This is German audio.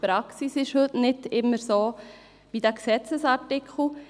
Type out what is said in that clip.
Die Praxis entspricht nicht immer dem Gesetzesartikel.